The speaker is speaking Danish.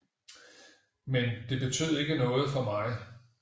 Men det betød ikke noget for mig